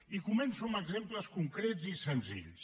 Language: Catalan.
i començo amb exemples concrets i senzills